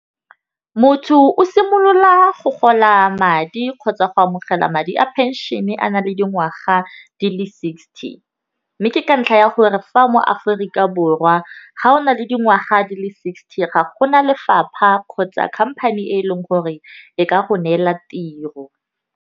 Motho o simolola go kgola madi kgotsa go amogela madi a phenšene a na le dingwaga di le sixty, mme ke ka ntlha ya gore fa mo Aforika Borwa ga o na le dingwaga di le sixty ga gona lefapha kgotsa company e leng gore e ka go neela tiro.